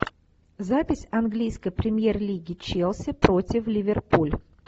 запись английской премьер лиги челси против ливерпуль